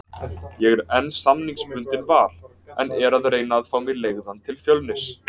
Ég er enn samningsbundinn Val, en er að reyna fá mig leigðan til Fjölnis.